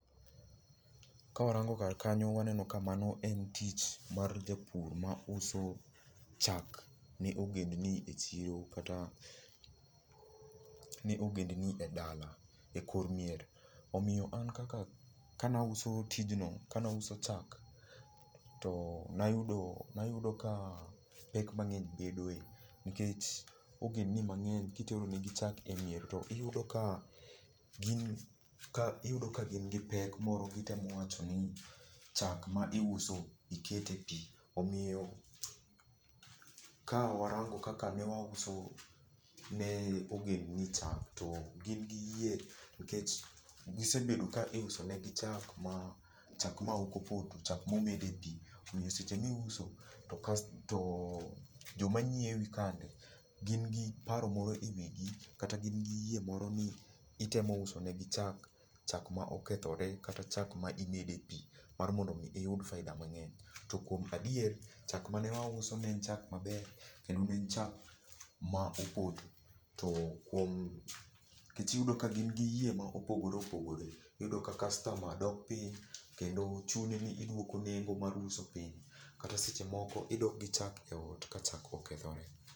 Ka warango kar kanyo waneno ka mano en tich mar japur mauso chak ne ogend ni e chiro kata ne ogend ni edala ekor miere. Omiyo an kaka kane auso tijno, kane auso chak, to nayudo nayudo ka pek mang'eny bedoe nikech ogend ni mang'eny kitero negi chak emier, iyudo ka gi iyudo ka gin gi pek moro gitemo wacho ni chak ma iuso ikete pi. Omiyo ka warango kaka ne wauso ne ogend ni chak to gin giyie. Nikech gisebedo ka iuso negi chak ma , chak ma chak maok opoto chak momede pi. Omiyo seche ma iuso to joma ng'iewi kande gin gi paro moro kata gin giyie ni itemo usonegi chak, chak ma okethore kata chak ma imede pi mar mondo mi iyud faida mang'eny. To kuom adier chak mane wauso ne en chak maber, kendo ne en chak ma opoto. Nikech iyudo ka gin giyie mopogore opogore. Iyudo ka kastama dok piny kendo chuni ni iduoko nengo mar uso piny. Kata seche moko idok gi chak eot ka chak okethore.